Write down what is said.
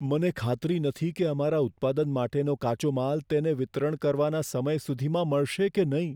મને ખાતરી નથી કે અમારા ઉત્પાદન માટેનો કાચો માલ તેને વિતરણ કરવાના સમય સુધીમાં મળશે કે નહીં.